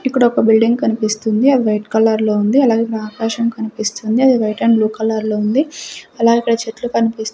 ఇక్కడొక బిల్డింగ్ కనిపిస్తుంది అది వైట్ కలర్ లోఉంది అలాగే ఆకాశం కనిపిస్తుంది అది వైట్ అండ్ బ్లూ కలర్ లో ఉంది అలాగే అక్కడ చెట్లు కనిపిస్తుంది.